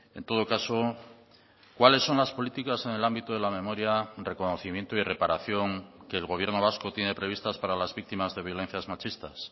en todo caso cuáles son las políticas en el ámbito de la memoria reconocimiento y reparación que el gobierno vasco tiene previstas para las víctimas de violencias machistas